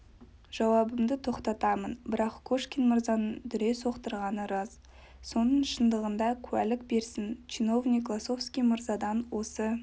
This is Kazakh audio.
жауабымды тоқтатамын бірақ кошкин мырзаның дүре соқтырғаны рас соның шындығына куәлік берсін чиновник лосовский мырзадан осы